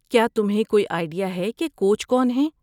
کیا تمہیں کوئی آئیڈیا ہے کہ کوچ کون ہیں؟